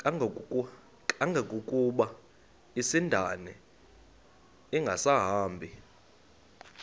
kangangokuba isindane ingasahambi